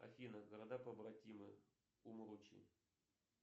афина города побратимы умручи